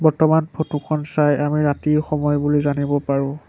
বৰ্তমান ফটো খন চাই আমি ৰাতিৰ সময় বুলি জানিব পাৰো।